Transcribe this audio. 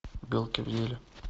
белки в деле